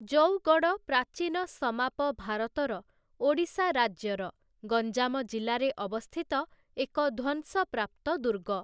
ଜଉଗଡ଼଼, ପ୍ରାଚୀନ ସମାପ ଭାରତର ଓଡ଼ିଶା ରାଜ୍ୟର ଗଞ୍ଜାମ ଜିଲ୍ଲାରେ ଅବସ୍ଥିତ ଏକ ଧ୍ୱଂସପ୍ରାପ୍ତ ଦୁର୍ଗ ।